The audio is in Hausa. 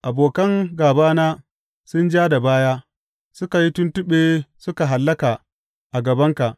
Abokan gābana sun ja da baya; suka yi tuntuɓe suka hallaka a gabanka.